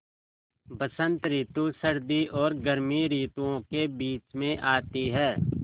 बसंत रितु सर्दी और गर्मी रितुवो के बीच मे आती हैँ